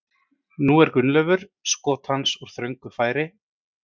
Nú er Gunnleifur skot hans úr þröngu færi.